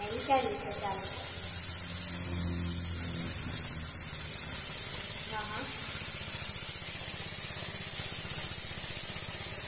ના કોઈ દિવસ કર્યું નથી, હવે ચાલુ કરવું છે, આ બધા કે કે કરે છે, કે તમે ચાલુ કરીદો ચાલુ કરીદો, તો મેં વિચાર્યું કે ચાલુ કરું, મે વિચર્યુ છે ચાલુ કરું,